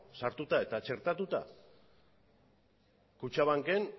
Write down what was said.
sartuta eta txertatuta kutxabanken